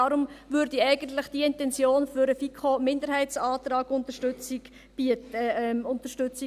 Deshalb spräche diese Intention eigentlich für eine FiKo-Minderheitsantragsunterstützung.